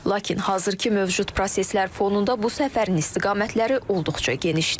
Lakin hazırki mövcud proseslər fonunda bu səfərin istiqamətləri olduqca genişdir.